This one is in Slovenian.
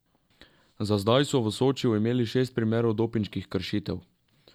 Za zdaj so v Sočiju imeli šest primerov dopinških kršitev.